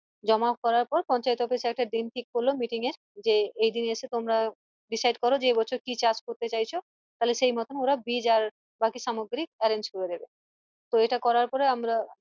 জমা করার পর পঞ্চায়েত office sir একটা দিন ঠিক করলো meeting এর যে এই দিন এসে তোমরা decide করো যে এবছর কি চাষ করতে চাইছ তালে সেইমত ওরা বীজ আর বাকি সামগ্রী arrange করে দিবে তো এটা করার পরে আমরা